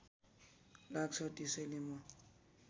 लाग्छ त्यसैले म